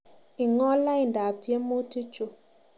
Ingool laindab tyemutikchu